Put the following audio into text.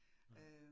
Nej